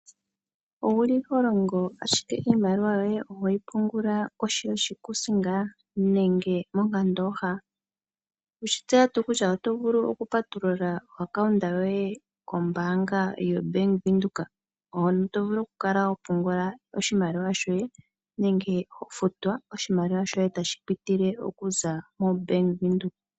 Oholongo ihe iimaliwa yoye ohoyi tsilike kohi yoshikuusinga nenge mokandooha? Oweshi tseya tuu kutya oto vulu okupatulula ombaanga yomapungulilo kobank Windhoek, hono to vulu okukala hopungulakp oshimaliwa nenge to futwa tashi pitile mobank Windhoek.